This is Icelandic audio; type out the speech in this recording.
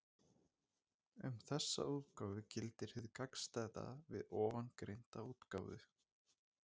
Um þessa útgáfu gildir hið gagnstæða við ofangreinda útgáfu.